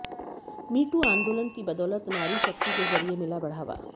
मी too आंदोलन की बदौलत नारी शक्ति के जरिए मिला बढ़ावा